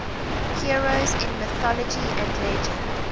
heroes in mythology and legend